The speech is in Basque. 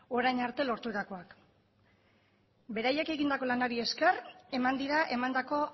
orain arte lorturakoak beraiek egindako lanari esker eman dira emandako